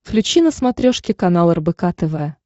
включи на смотрешке канал рбк тв